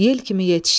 Yel kimi yetişdi.